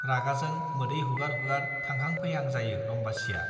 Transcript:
रागाजों मोदै हुगार हुगार थांहां फैहां जायो रम्बासीया।